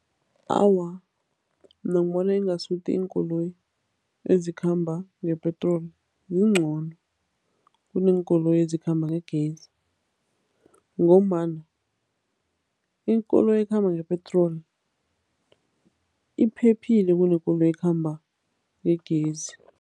Awa, mina ngibona ingasuthi iinkoloyi ezikhamba ngepetroli zingcono kuneenkoloyi ezikhamba ngegezi ngombana ikoloyi ekhamba ngepetroli iphephile kunekoloyi ekhamba ngegezi.